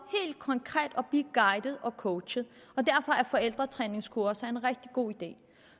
helt konkret at blive guidet og coachet og derfor er forældretræningskurser en rigtig god idé